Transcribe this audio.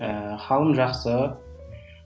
ііі халім жақсы